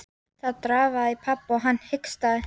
Það drafaði í pabba og hann hikstaði.